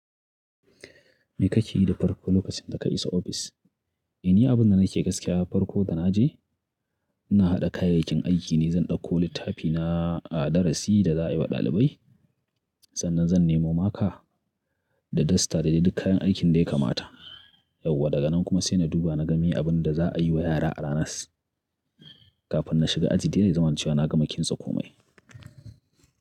Me kake yi da farko lokacin da ka isa ofis? Ni abin da nake yi gaskiya farko da naje ina haɗa kayayyakin aiki ne. Zan ɗauko littafina a darasi da za a yi wa ɗalibai. Sannan zan nemo maka da dasta da dai duk kayan aikin da ya kamata. Yauwa daga nan kuma sai na duba na ga meye abin da za a yi wa yara a ranas kafin na shiga aji. Dai zai zamana cewa na ga ma kinsa komai.